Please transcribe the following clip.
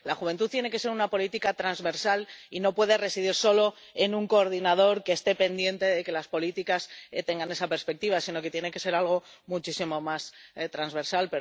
La de la juventud tiene que ser una política transversal y no puede residir solo en un coordinador que esté pendiente de que las políticas tengan esa perspectiva, sino que tiene que ser algo muchísimo más transversal.